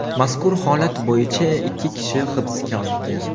Mazkur holat bo‘yicha ikki kishi hibsga olingan.